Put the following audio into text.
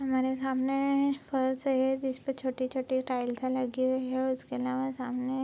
हमारे सामने फर्श है जिसपे छोटे-छोटे टाइल्स लगी हुई हैं उसके आलावा सामने --